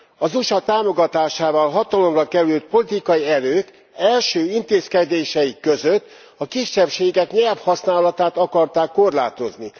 Az USA támogatásával hatalomra kerülő politikai erők első intézkedéseik között a kisebbségek nyelvhasználatát akarták korlátozni.